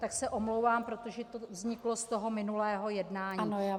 Tak se omlouvám, protože to vzniklo z toho minulého jednání.